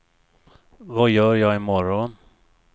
vad gör jag imorgon